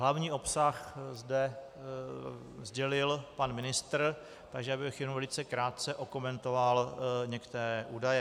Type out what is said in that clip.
Hlavní obsah zde sdělil pan ministr, takže já bych jenom velice krátce okomentoval některé údaje.